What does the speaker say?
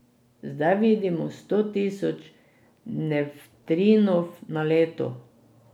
Zdaj vidimo sto tisoč nevtrinov na leto.